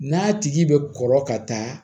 N'a tigi bɛ kɔrɔ ka taa